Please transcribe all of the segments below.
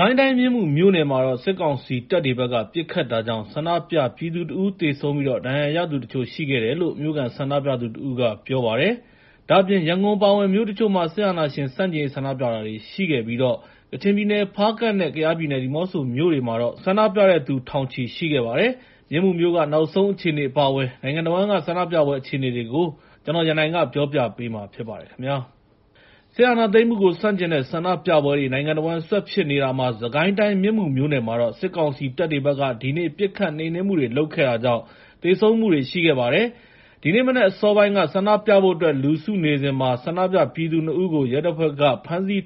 ကိုင်းတိုင်း မြင်းမူမြို့နယ်မှာတော့ စစ်ကောင်စီတပ်တွေဘက်က ပစ်ခတ်တာကြောင့် ဆန္ဒပြပြည်သူ ၁ ဦး သေဆုံးပြီး ဒဏ်ရာရသူတချို့ ရှိတယ်လို့ မြို့ခံဆန္ဒပြသူတဦးက ပြောပါတယ်။ ဒါ့အပြင် ရန်ကုန်အပါအဝင် မြို့တချို့မှာ စစ်အာဏာရှင်ဆန့်ကျင်ရေး ဆန္ဒပြတာတွေ ရှိခဲ့ပြီး ကချင်ပြည်နယ် ဖားကန့်နဲ့ ကယားပြည်နယ် ဒီမောဆိုမြို့တွေမှာတော့ ဆန္ဒပြတဲ့သူတွေ ထောင်နဲ့ချီရှိခဲ့တယ်လို့ ဆိုပါတယ်။ မြင်းမူမြို့က နောက်ဆုံးအခြေအနေ အပါအဝင် နိုင်ငံတဝန်းက ဆန္ဒပြပွဲ အခြေအနေတွေကို ကိုရန်နိုင်က စုစည်းတင်ပြထားပါတယ်။ စစ်အာဏာသိမ်းမှုကို ဆန့်ကျင်တဲ့ ဆန္ဒပြပွဲတွေ နိုင်ငံတဝန်း ဆက်ဖြစ်နေတာမှာ စစ်ကိုင်းတိုင်း မြင်းမူမြို့နယ်မှာတော့ စစ်ကောင်စီတပ်တွေဘက်က ဒီနေ့ ပစ်ခတ်နှိမ်နင်းမှုတွေ လုပ်ခဲ့တာကြောင့် သေဆုံးမှုတွေ ရှိခဲ့ပါတယ်။ ဒီနေ့မနက် အစောပိုင်းက ဆန္ဒပြဖို့အတွက် လူစုနေစဉ် ဆန္ဒပြပြည်သူ ၂ ဦးကို ရဲတပ်ဖွဲ့က ဖမ်းဆီး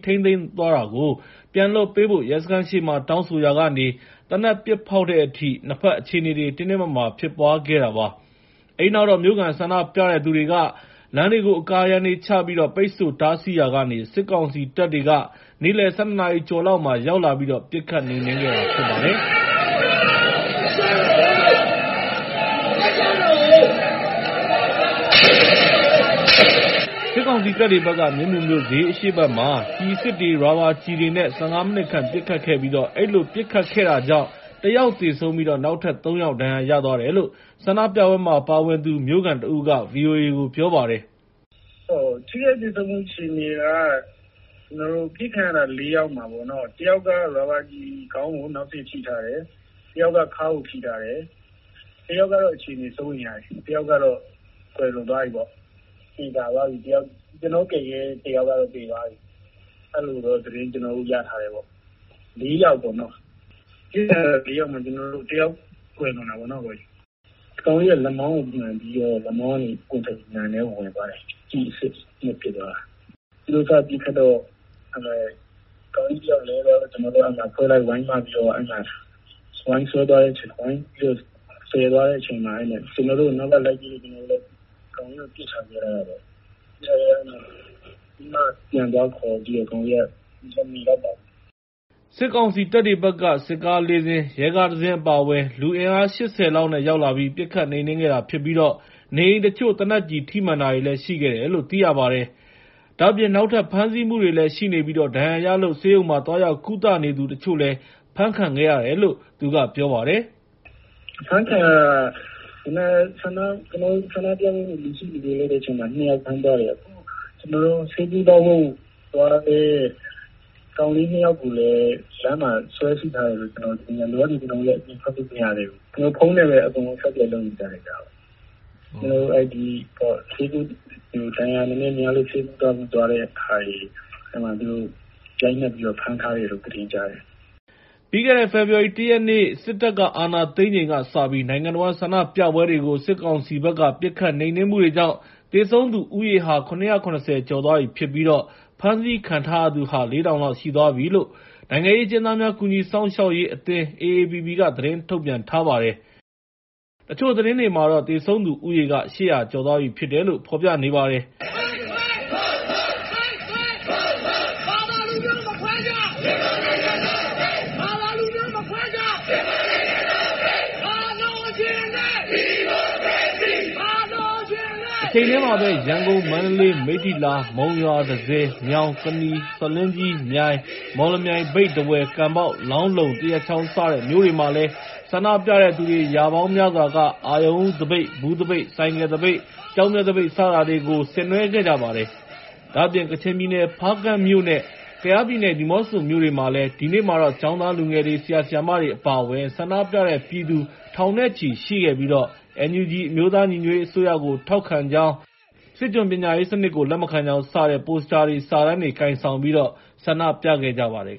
သွားတာကို ပြန်လွှတ်ပေးဖို့ ရဲစခန်းရှေ့မှာ တောင်းဆိုရာကနေ သေနတ်ပစ်ဖောက်တဲ့အထိ နှစ်ဖက် အခြေအနေတွေ တင်းတင်းမာမာ ဖြစ်ပွားခဲ့တာပါ။ အဲဒီနောက်တော့ မြို့ခံဆန္ဒပြတဲ့သူတွေက လမ်းတွေကို အကာအရံတွေချပြီး ပိတ်ဆို့တားဆီးရာကနေ စစ်ကောင်စီတပ်တွေ နေ့လယ် ၁၂ ကျော်လောက်မှာ ရောက်လာပြီးတော့ ပစ်ခတ်နှိမ်နင်းခဲ့တာပါ။ စစ်ကောင်စီတပ်တွေဘက်က မြင်းမူမြို့ ဈေးအရှေ့ဘက်မှာ ကျည်အစစ်တွေ၊ ရာဘာကျည်တွေနဲ့ ၁၅ မိနစ်ခန့် ပစ်ခတ်ခဲ့ပြီး အဲဒီလို ပစ်ခတ်တာကြောင့် ၁ ယောက်သေဆုံးပြီး နောက်ထပ် ၃ ယောက် ဒဏ်ရာရသွားတယ်လို့ ဆန္ဒပြပွဲမှာ ပါဝင်သူ မြို့ခံတဦးက ဗွီအိုအေကို ပြောပါတယ်။ “ထိခိုက်သေဆုံးမှု အခြေအနေက အပစ်ခံထားရတာ ၄ ယောက်မှာ တယောက်က ရာဘာကျည် ခေါင်းကို နောက်စေ့ထိထားတယ်၊ တယောက်က ခါးကိုထိထားတယ်၊ တယောက်ကတော့ အခြေအနေ စိုးရိမ်ရတယ်၊ တယောက်ကတော့ ကွယ်လွန်သွားပြီပေါ့။ သေချာသွားပြီ ကျနော်တို့ကယ်ခဲ့တဲ့ တယောက်ကတော့ သေသွားပြီ။ အဲဒီလိုတော့ ကျနော်တို့ သတင်းရထားတယ်။ ပစ်ခံရတာ ၄ ယောက်မှာ ၁ ယောက် ကွယ်လွန်တာပေါ့။ ကောင်လေးက လက်မောင်းကိုမှန်ပြီးတော့ လက်မောင်းကနေ ပွင့်ထွက်ပြီး နံထဲဝင်သွားတယ်။ ကျည်အစစ်နဲ့ ပစ်သွားတာ။ သူတို့ဘက်က ပစ်ခတ်တော့ ကောင်လေးတယောက်လဲသွားတော့ ကျနော်တို့က အတွဲလိုက် ဝိုင်းမပြီးတော့ သယ်သွားတဲ့အချိန်မှာ ကျနော်တို့ကို နောက်ကနေ လိုက်ပစ်လို့ ကျနော်တို့လည်း ကောင်လေးကို ပစ်ထားခဲ့ရတာပေါ့။ ခုနမှ ပြန်သွားခေါ်တော့ မမီလိုက်ပါဘူး။” စစ်ကောင်စီတပ်တွေဘက်က စစ်ကား ၄ စင်း၊ ရဲကား ၁ စင်း အပါအဝင် လူအင်အား ၈၀ လောက်နဲ့ ရောက်လာပြီး ပစ်ခတ်နှိမ်နင်းခဲ့တာဖြစ်ပြီး နေအိမ်တချို့ သေနတ်ကျည်ထိမှန်တာတွေလည်း ရှိခဲ့တယ်လို့ သိရပါတယ်။ ဒါ့အပြင် နောက်ထပ် ဖမ်းဆီးမှုတွေလည်း ရှိနေပြီး ဒဏ်ရာရလို့ ဆေးရုံမှာ သွားရောက်ကုသနေသူတချို့ အဖမ်းခံရတယ်လို့လည်း သူက ပြောပါတယ်။ “ဖမ်းခံရတာက ကျနော်တို့ ဆန္ဒပြဖို့ လူစုလူဝေးလုပ်တဲ့အချိန်မှာ ၂ ယောက် ဖမ်းသွားတယ်။ ဆေးကုသဖို့သွားတဲ့ ကောင်လေး ၂ ယောက်ကိုလည်း လမ်းမှာ ဆွဲစိထားတယ်လို့ ကြားတယ်။ လောလောဆယ် ကျနော်တို့ အပြင်ထွက်လို့ မရသေးဘူး၊ ဖုန်းနဲ့ပဲ အားလုံး အဆက်အသွယ် လုပ်နေကြတယ်ဗျ။ ဒဏ်ရာနည်းနည်းများလို့ ဆေးကုဖို့သွားတဲ့သူတွေကိုတော့ ရိုက်နှက်ပြီးတော့ ဖမ်းထားတယ်လို့ ကျနော်တို့ ကြားတယ်။” ပြီးခဲ့တဲ့ ဖေဖော်ဝါရီ ၁ ရက်နေ့ စစ်တပ်အာဏာသိမ်းချိန်ကစပြီး နိုင်ငံတဝန်းက ဆန္ဒပြပွဲတွေကို စစ်ကောင်စီဘက်က ပစ်ခတ်နှိမ်နင်းမှုတွေကြောင့် သေဆုံးသူဦးရေဟာ ၇၇၀ ကျော်သွားပြီဖြစ်ပြီး ဖမ်းဆီးခံထားရသူဟာ ၄,၀၀၀ လောက်ရှိသွားပြီဖြစ်တယ်လို့ နိုင်ငံရေးအကျဉ်းသားများ ကူညီစောင့်ရှောက်ရေးအသင်း က သတင်းထုတ်ပြန်ထားပါတယ်။ တချို့သတင်းတွေမှာတော့ သေဆုံးသူက ၈၀၀ ကျော်သွားပြီဖြစ်တယ်လို့ ပြောပါတယ်။ တချိန်တည်းမှာပဲ ရန်ကုန်၊ မန္တလေး၊ မိတ္ထီလာ၊ မုံရွာ၊ တန့်ဆည်၊ မြောင်၊ ကနီ၊ ဆားလင်းကြီး၊ မြိုင်၊ မော်လမြိုင်၊ မြိတ်၊ ထားဝယ်၊ ကန်ဘောက်၊ လောင်းလုံ၊ သရက်ချောင်း စတဲ့မြို့တွေမှာလည်း ဆန္ဒပြတဲ့သူ ရာပေါင်းများစွာက အရုဏ်ဦးသပိတ်၊ ဘူးသပိတ်၊ ဆိုင်ကယ်သပိတ်၊ ကျောက်မျက်သပိတ် စတာတွေကို ဆင်နွဲှခဲ့ကြပါတယ်။ ဒါ့အပြင် ကချင်ပြည်နယ် ဖားကန့်မြို့နဲ့ ကယားပြည်နယ် ဒီမောဆိုမြို့တွေမှာတော့ ဒီနေ့မှာ ကျောင်းသားလူငယ်တွေ၊ ဆရာ ဆရာမတွေ အပါအဝင် ဆန္ဒပြတဲ့သူတွေ ထောင်နဲ့ချီရှိခဲ့ပြီး NUG အမျိုးသားညီညွတ်ရေးအစိုးရကို ထောက်ခံကြောင်း၊ စစ်ကျွန်ပညာရေးစနစ်ကို လက်မခံကြောင်း စတဲ့ ပိုစတာတွေ၊ စာတန်းတွေ ကိုင်ဆောင်ပြီး ဆန္ဒပြခဲ့ကြပါတယ်